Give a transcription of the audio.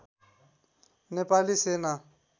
नेपाली सेना